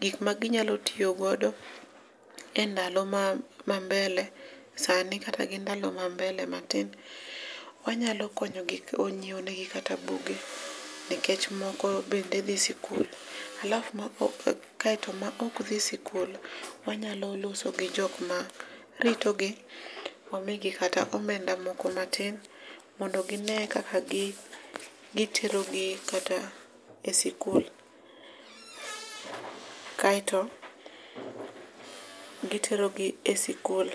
gik ma ginyalo tiyo godo e ndalo ma mbele sani kata gi ndalo ma mbele matin. Wanyalo konyo gi nyiewo ne gi kata buge nikech moko bende dhi sikul alafu kaeto maok dhi sikul wanyalo loso gi jok ma rito gi wamigi kata omenda moko matin mondo gine kaka gitero gi kata e sikul kaeto gitero gi e sikul .